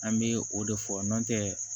An bɛ o de fɔ n'o tɛ